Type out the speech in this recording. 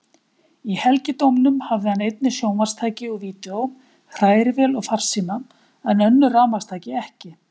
Í helgidómnum hafði hann einnig sjónvarpstæki og vídeó, hrærivél og farsíma, en önnur rafmagnstæki ekki.